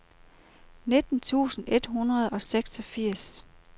nitten tusind et hundrede og seksogfirs